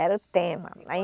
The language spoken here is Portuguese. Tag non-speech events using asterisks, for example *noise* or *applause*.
Era o tema. *unintelligible*